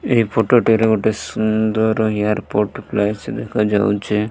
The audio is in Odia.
ଏଇ ଫଟୋ ଟିର ଗୋଟେ ସୁନ୍ଦର ଏୟାରପୋର୍ଟ ପ୍ଲେସେ ଦେଖାଯାଉଚି ।